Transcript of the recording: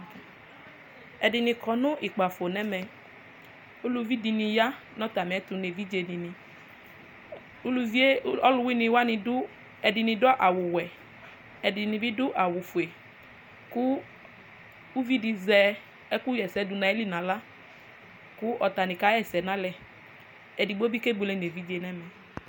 ɛdini kɔ no kpafo n'ɛmɛ uluvi di ni ya n'atamiɛto n'evidze di ni uluvie ɔluwini wani do ɛdi ado awu wɛ ɛdini bi ado awu fue kò uvi di azɛ ɛkò ɣ'ɛsɛ do n'ayili n'ala kò atani ka ɣa ɛsɛ n'alɛ edigbo bi kebuele n'evidze n'ɛmɛ